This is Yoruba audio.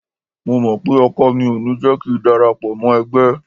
Mo mọ̀ pé ọkọ mi ò ní jẹ́ kíi darapọ̀ mọ́ ẹgbẹ́.